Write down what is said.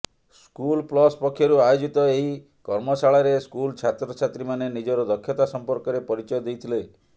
school plus ପକ୍ଷରୁ ଆୟୋଜିତ ଏହି କର୍ମଶାଳାରେ ସ୍କୁଲ ଛାତ୍ରଛାତ୍ରୀମାନେ ନିଜର ଦକ୍ଷତା ସମ୍ପର୍କରେ ପରିଚୟ ଦେଇଥିଲେ